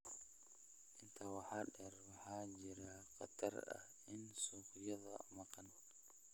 Intaa waxaa dheer, waxaa jira khatar ah in suuqyada maqan